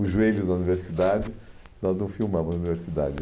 Os joelhos da universidade, nós não filmamos a universidade.